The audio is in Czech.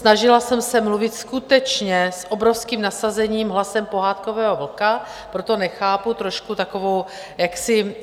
Snažila jsem se mluvit skutečně s obrovským nasazením hlasem pohádkového vlka, proto nechápu trošku takovou jaksi